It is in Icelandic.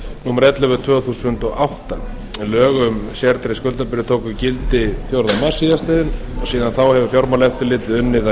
númer ellefu tvö þúsund og átta lög um sértryggð skuldabréf tóku gildi fjórða mars síðast liðinn síðan þá hefur fjármálaeftirlitið unnið að